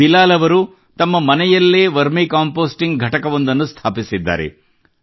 ಬಿಲಾಲ್ ಅವರು ತಮ್ಮ ಮನೆಯಲ್ಲೇ ವರ್ಮಿ ಕಂಪೆÇೀಸ್ಟಿಂಗ್ ಘಟಕವೊಂದನ್ನು ಸ್ಥಾಪಿಸಿದ್ದಾರೆ